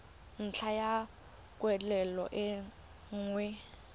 ntlha ya kwatlhao e nngwe